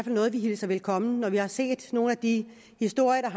noget vi hilser velkommen vi har set nogle af de historier